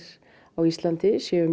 á Íslandi séu